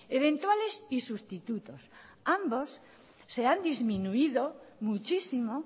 eventuales y sustitutos ambos se han disminuido muchísimo